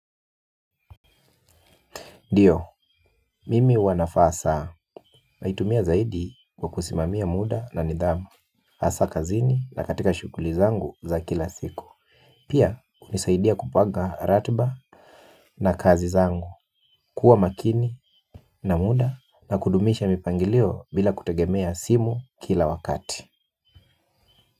Ndiyo, mimi huwanavaa saa naitumia zaidi kwa kusimamia muda na nidhamu hasa kazini na katika shughuli zangu za kila siku pia hunisaidia kupanga ratiba na kazi zangu. Kuwa makini na muda na kudumisha mipangilio bila kutegemea simu kila wakati.